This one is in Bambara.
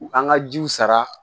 U kan ka jiw sara